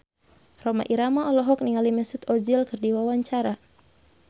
Rhoma Irama olohok ningali Mesut Ozil keur diwawancara